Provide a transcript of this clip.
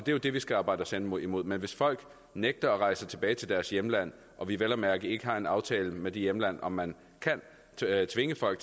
jo det vi skal arbejde os hen imod imod men hvis folk nægter at rejse tilbage til deres hjemland og vi vel at mærke ikke har en aftale med det hjemland om man kan tvinge folk